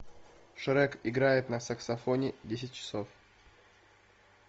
шрек играет на саксофоне десять часов